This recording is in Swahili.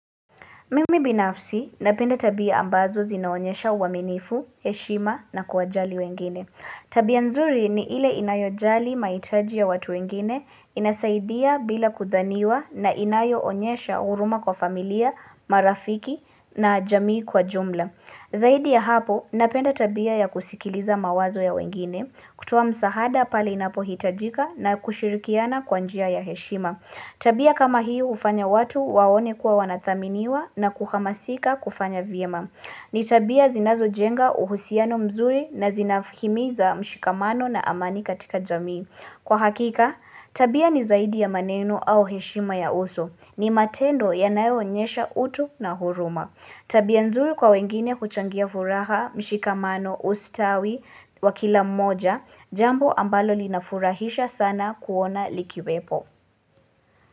Mimi binafsi, napenda tabia ambazo zinaonyesha uaminifu, heshima na kwa jali wengine. Tabia nzuri ni ile inayo jali maitaji ya watu wengine, inasaidia bila kuthaniwa na inayo onyesha uruma kwa familia, marafiki na jamii kwa jumla. Zaidi ya hapo, napenda tabia ya kusikiliza mawazo ya wengine, kutuwa msahada pali inapo hitajika na kushirikiana kwa njia ya heshima. Tabia kama hii ufanya watu waone kuwa wanathaminiwa na kuhamasika kufanya vyema. Ni tabia zinazo jenga uhusiano mzuri na zinafimiza mshikamano na amani katika jamii. Kwa hakika, tabia ni zaidi ya maneno au heshima ya uso. Ni matendo ya nayonyesha utu na huruma. Tabia nzuri kwa wengine kuchangia furaha mshikamano ustawi wakila moja, jambo ambalo linafurahisha sana kuona likiwepo.